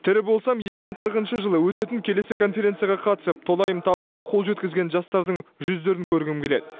тірі болсам екі мың қырықыншы жылы өтетін келесі конференцияға қатысып толайым табысқа қол жеткізген жастардың жүздерін көргім келеді